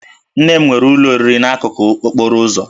Nne m nwere ụlọ oriri n'akụkụ okporo ụzọ